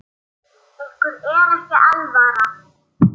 Ykkur er ekki alvara!